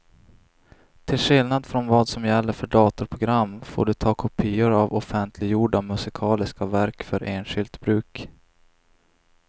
Till skillnad från vad som gäller för datorprogram får du ta kopior av offentliggjorda musikaliska verk för enskilt bruk.